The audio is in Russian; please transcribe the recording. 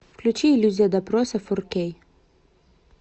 включи иллюзия допроса фор кей